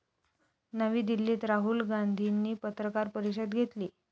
नवी दिल्लीत राहुल गांधीनी पत्रकार परिषद घेतली.